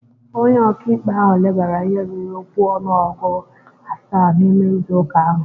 Onye ọka ikpe ahụ lebara ihe ruru okwu ọnụọgụ asaa n'ime izu ụka ahụ